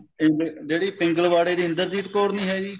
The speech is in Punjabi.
ਜਿਹੜੀ ਪਿੰਗਲਵਾੜੇ ਦੀ ਇੰਦਰਜੀਤ ਕੌਰ ਨੀ ਹੈਗੀ